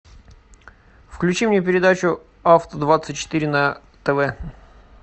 включи мне передачу авто двадцать четыре на тв